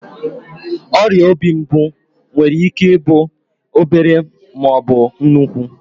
Ọrịa obi mbụ nwere ike ịbụ obere maọbụ nnukwu